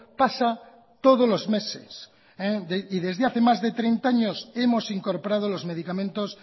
pasa todos los meses y desde hace más de treinta años hemos incorporado los medicamentos